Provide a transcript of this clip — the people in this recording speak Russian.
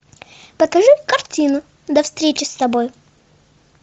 покажи картину до встречи с тобой